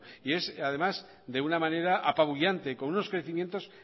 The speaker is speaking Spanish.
además de una manera apabullante con unos crecimientos